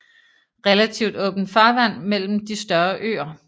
Relativt åbent farvand mellem de større øer